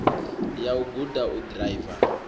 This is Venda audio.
ya u guda u ḓiraiva